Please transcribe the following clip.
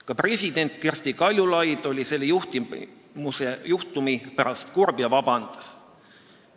Ka president Kersti Kaljulaid oli selle juhtumi pärast kurb ja palus vabandust.